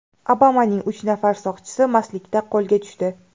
Obamaning uch nafar soqchisi mastlikda qo‘lga tushdi.